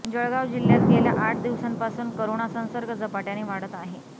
जळगाव जिल्ह्यात गेल्या आठ दिवसांपासून करोना संसर्ग झपाट्याने वाढत आहे